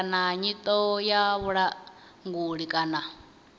kana nyito ya vhulanguli kana